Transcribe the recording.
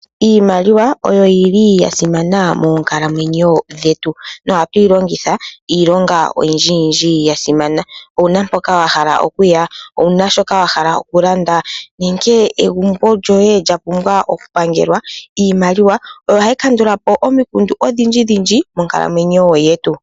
Iimaliwa oyo yi li ya simana moonkalamwenyo dhetu nohatu yi longitha iilonga oyindjiyindji ya imana. Owu na mpoka wa hala okuya, owu na shoka wa hala okulanda nenge egumbo lyoye lya pumbwa okupangelwa? Iimaliwa oyo hayi kandula po omikundu odhindji moonkalamwenyo dhetu.